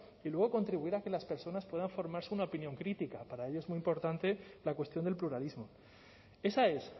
y luego contribuir a que las personas puedan formarse una opinión crítica para ello es muy importante la cuestión del pluralismo esa es